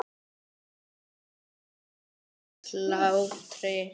Og hættu þessum hlátri.